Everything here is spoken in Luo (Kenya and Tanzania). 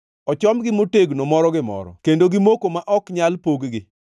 Ochomgi motegno moro gi moro; kendo gimoko ma ok nyal pog-gi.